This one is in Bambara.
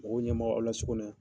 Mɔgɔw ɲɛ m'aw la so kɔnɔ ya.